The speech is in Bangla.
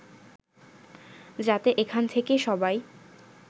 যাতে এখান থেকে সবাই